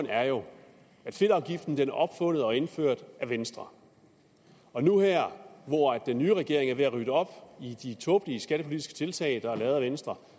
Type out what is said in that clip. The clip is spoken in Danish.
er jo at fedtafgiften blev opfundet og indført af venstre og nu er den nye regering ved at rydde op i de tåbelige skattepolitiske tiltag der er lavet af venstre